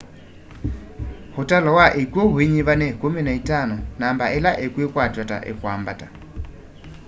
ũtalo wa ikyũ uinyiva ni 15 namba ĩla ikwikwatw'a ta ikwambata